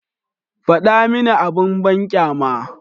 Faɗa mini abin banƙyama.